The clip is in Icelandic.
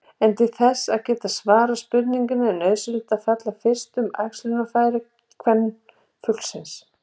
En til þess að geta svarað spurningunni er nauðsynlegt að fjalla fyrst um æxlunarfæri kvenfuglsins.